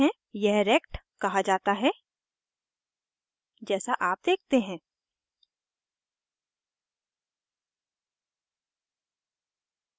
यह rect कहा जाता है जैसा आप देखते हैं